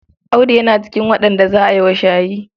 Audu yana cikin waɗanda za a yi wa shayi.